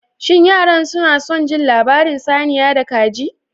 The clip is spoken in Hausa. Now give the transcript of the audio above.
Shin yaran suna son labarin saniya da kaji?